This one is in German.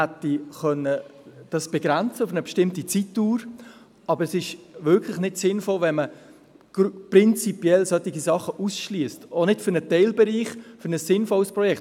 Man hätte es begrenzen können auf eine bestimmte Zeitdauer, aber es ist wirklich nicht sinnvoll, wenn man solche Sachen prinzipiell ausschliesst, auch nicht für einen Teilbereich, für ein sinnvolles Projekt.